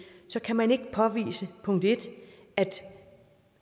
så kan man ikke påvise at